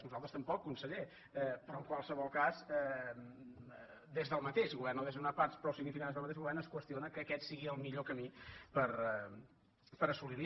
nosaltres tam·poc conseller però en qualsevol cas des del mateix govern o des d’unes parts prou significades del ma· teix govern es qüestiona que aquest sigui el millor camí per assolir·ho